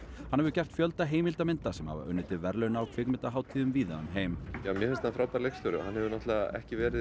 hann hefur gert fjölda heimildarmynda sem hafa unnið til verðlauna á kvikmyndahátíðum víða um heim mér finnst hann frábær leikstjóri og hann hefur ekki verið